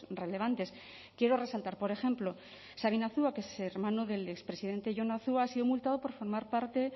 relevantes quiero resaltar por ejemplo sabin azua que es hermano del expresidente jon azua ha sido multado por formar parte